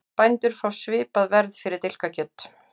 Bændur fá svipað verð fyrir dilkakjöt